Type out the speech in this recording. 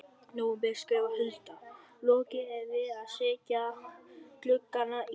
nóvember skrifar Hulda: Lokið er við að setja gluggana í.